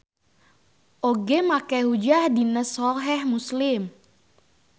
Oge make hujjah dina Soheh Muslim.